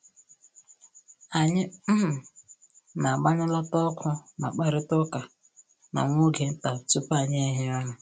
Anyị um na-agbanyụlata ọkụ ma kparịta ụka na nwa oge nta tupu anyị ehie ụra